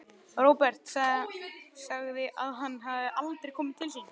Róbert sagði að hann hefði aldrei komið til sín.